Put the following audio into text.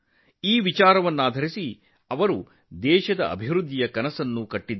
ಈ ಚಿಂತನೆಯ ಆಧಾರದ ಮೇಲೆ ಅವರು ದೇಶದ ಅಭಿವೃದ್ಧಿಗೆ ದೃಷ್ಟಿಕೋನವನ್ನು ನೀಡಿದರು